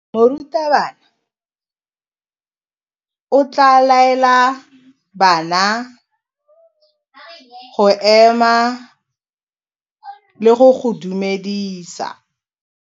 Morutabana o tla laela bana go ema le go go dumedisa.